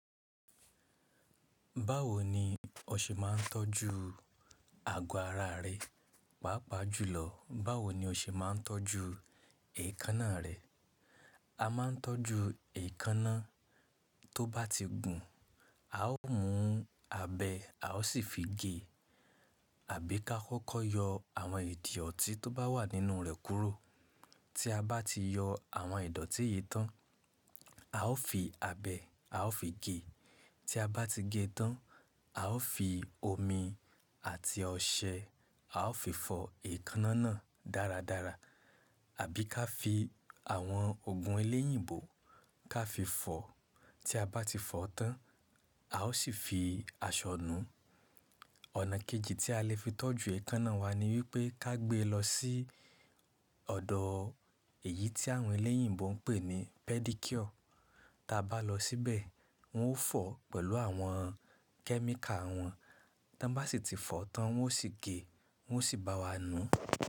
Báwo ni o ṣe máa ń tọ́jú àgọ́ ara rẹ, pàápàá jùlọ báwo ni o ṣe máa ń tọ́jú èékánná rẹ? A máa ń tọ́jú èékánná tó bá ti gùn, a ó mú abẹ a ó sì fi gé àbí ká kọ́kọ́ yọ àwọn idọ̀tí tó bá wà nínú rẹ̀ kúrò. Tí a bá ti yọ àwọn ẹ̀dọ̀tí yìí tán, a ó fi abẹ a ó fi gé. Tí a bá ti gé tán, a ó fi omi àti ọṣẹ a ó fi fọ èékánná náà dáradára. Àbí ká fi àwọn òògùn eléyìǹbó ká fi fọ. Tí a bá ti fọ tán, a ó sì fi aṣọ nù ú. Ọ̀nà kejì tí a lè fi tọ́jú èékánná wa ni wípé ká gbe lọ sí ọ̀dọ̀ èyí tí àwọn eléyìǹbó ń pè ní pedicure. Tí a bá lọ síbẹ̀, wọn ó fọ̀ ọ́ pẹ̀lú àwọn kẹ́míkà wọn, tí wọ́n bá sì ti fọ̀ ọ́ tán wọn ó sì gé, wọn ó sì bá wa nù ú.